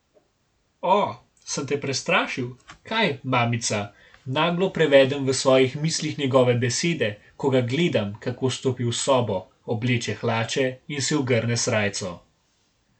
O, sem te prestrašil, kaj, mamica, naglo prevedem v svojih mislih njegove besede, ko ga gledam, kako stopi v sobo, obleče hlače in si ogrne srajco.